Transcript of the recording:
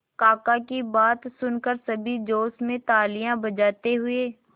काका की बात सुनकर सभी जोश में तालियां बजाते हुए